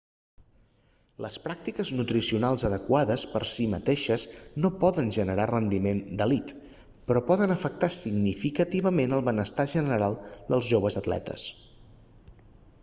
les pràctiques nutricionals adequades per si mateixes no poden generar rendiment d'elit però poden afectar significativament el benestar general dels joves atletes